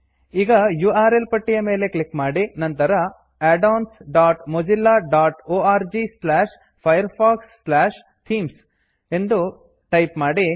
ಈಗ U R L ಪಟ್ಟಿಯ ಮೇಲೆ ಕ್ಲಿಕ್ ಮಾಡಿ ನಂತರ addonsmozillaorgfirefoxಥೀಮ್ಸ್ addons dot Mozilla dot O R G slash Firefox slash themes ಎಂದು ಟೈಪ್ ಮಾಡಿ